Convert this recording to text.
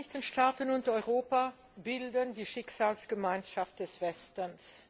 Die Vereinigten Staaten und Europa bilden die Schicksalsgemeinschaft des Westens.